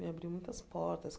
Me abriu muitas portas.